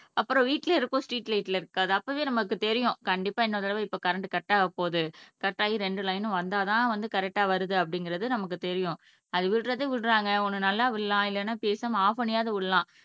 அப்புறம் வீட்டுலயே இருக்கும் ஸ்ட்ரீட் லைட்ல இருக்காது அப்பவே நமக்கு தெரியும் கண்டிப்பாக இன்னொரு தடவை இப்ப கரண்ட் கட் ஆகப்போகுது கட் ஆகி ரெண்டு லைன் வந்தாதான் வந்து கரெக்டா வருது அப்படிங்கறது நமக்கு தெரியும் அது விடுறது விடறாங்க ஒண்ணு நல்லா விடலாம் இல்லைன்னா பேசாம ஆப் பண்ணியாவது விடலாம்